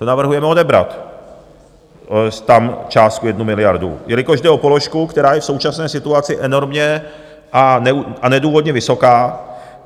To navrhujeme odebrat tam částku jednu miliardu, jelikož jde o položku, která je v současné situaci enormně a nedůvodně vysoká.